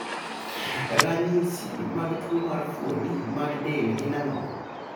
Ranyisi mag tuo mar fuoni mag del gin ang'o?